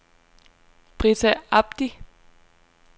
Brita Abdi